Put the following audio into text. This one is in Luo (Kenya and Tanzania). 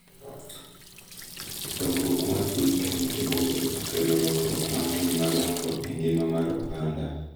Dongruok mar piny Kenya e bombe okelo lokruok mang'eny madongo e ngima mar oganda,